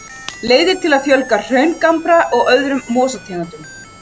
Leiðir til að fjölga hraungambra og öðrum mosategundum.